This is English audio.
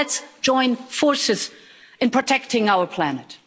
So let's join forces in protecting our planet.